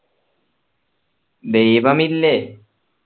ദൈവമില്ലേ